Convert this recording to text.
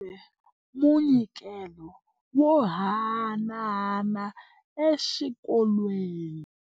Va humesile munyikelo wo haanana exikolweni.